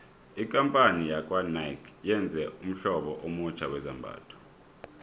ikampani yakwanike yenze ummhlobo omutjha wezambhatho